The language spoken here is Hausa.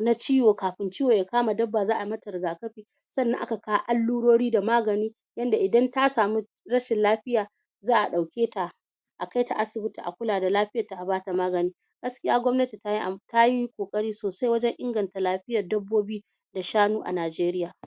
na ciwo kafin ciwo ya kama dabba za'a mata rigakafi sannan aka kawo allurori da magani yanda idan ta samu rashin lafiya za'a ɗauketa a kaita asibiti a kula da lafiyar ta a bata magani gaskiya gwamnati tayi tayi ƙoƙari sosai wajen inganta lafiyar dabbobi da shanu a Najeriya